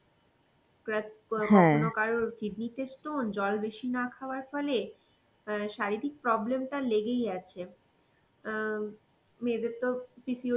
Crack~ ক~ কখনো কারোর kidney তে stone জল বেশি না খাওয়ার ফলে, অ্যাঁ শারীরিক প্রবলেমটা লেগেই আছে. অ্যাঁ মেয়েদের তো PCOD